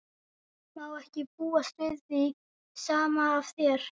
Má ekki búast við því sama af þér?